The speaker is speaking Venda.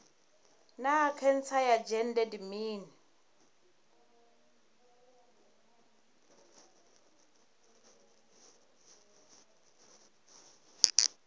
naa khentsa ya dzhende ndi mini